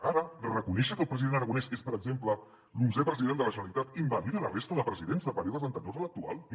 ara reconèixer que el president aragonès és per exemple l’onzè president de la generalitat invalida la resta de presidents de períodes anteriors a l’actual no